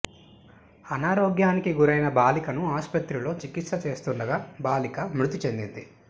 అనారోగ్యానికి గురైన బాలికను ఆస్పత్రిలో చికిత్స చేస్తుండగా బాలిక మృతి చెందింది